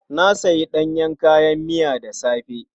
Na sayi ɗanyen kayan miya da safe.